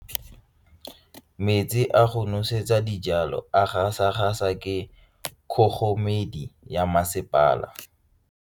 Metsi a go nosetsa dijalo a gasa gasa ke kgogomedi ya masepala.